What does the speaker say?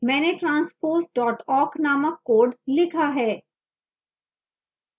मैंने transpose awk named code लिखा है